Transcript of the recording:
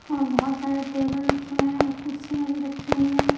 और बहुत सारे टेबल रखे हुए हैं और कुर्सियां भी रखी हुई है।